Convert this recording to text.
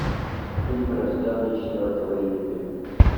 фильм рожденный четвертого июля